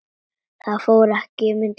Það fór ekki milli mála.